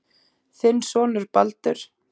Þinn sonur Baldur.